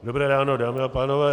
Dobré ráno, dámy a pánové.